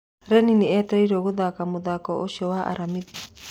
Runĩ nĩ etereirwo gũthaka mũthaki ũcio wa Aramithi.